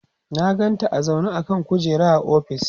na ganta a zaune a kan kujera a ofis